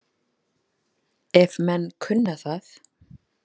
Ef menn kunna það.